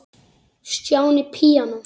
Stjáni píanó